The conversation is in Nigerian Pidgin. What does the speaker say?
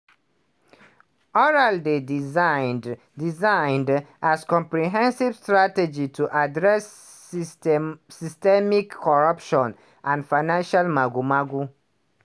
oral dey designed designed as comprehensive strategy to address system systemic corruption and financial mago-mago.